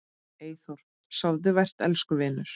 Eyþór, sofðu vært elsku vinur.